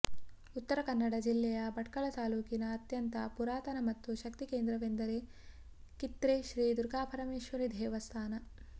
ಉತ್ತರ ಕನ್ನಡ ಜಿಲ್ಲೆಯ ಭಟ್ಕಳ ತಾಲ್ಲೂಕಿನ ಅತ್ಯಂತ ಪುರಾತನ ಮತ್ತು ಶಕ್ತಿ ಕೇಂದ್ರವೆಂದರೆ ಕಿತ್ರೆ ಶ್ರೀ ದುರ್ಗಾ ಪರಮೇಶ್ವರೀ ದೇವಸ್ಥಾನ